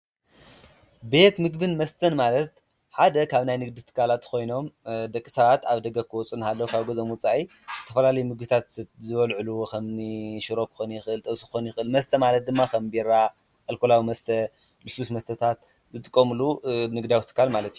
ቤት ምግብን መስተን ማለት ሓደ ኻብ ናይ ንግድ ትካላት ኾይኖም ደቂ ሰባት ኣብ ደገ ክወፁ አናሃለዉ ካብ ገዝኦም ወፃኢ ተፈላለዩ ምግታት ዝበልዕሉ ኸምኒ ሽሮ ክኾኒ የኽእል ፣ጥብሲ ክኾን ይኽእል፡፡ መስተ ማለት ድማ ኸም ቢራ ፣ኣልኮላዊ መስተ ልስሉስ መስተታት ዝጥቀምሉ ንግዳዊ ትካል ማለት አዩ፡፡